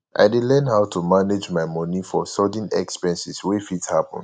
i dey learn how to manage my money for sudden expenses wey fit happen